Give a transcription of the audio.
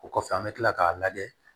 O kɔfɛ an bɛ tila k'a lajɛ